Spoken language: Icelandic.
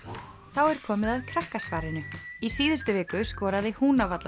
þá er komið að Krakkasvarinu í síðustu viku skoraði